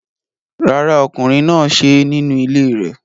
Rárá, ọkùnrin náà ṣe é nínú ilé rẹ̀